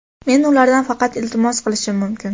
"Men ulardan faqat iltimos qilishim mumkin".